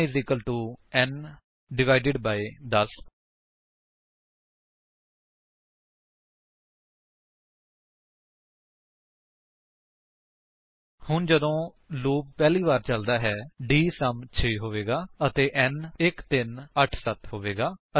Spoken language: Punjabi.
n n 10 ਹੁਣ ਜਦੋਂ ਲੂਪ ਪਹਿਲੀ ਵਾਰ ਚਲਦਾ ਹੈ ਡੀਐਸਯੂਐਮ 6 ਹੋਵੇਗਾ ਅਤੇ n 1387 ਹੋਵੇਗਾ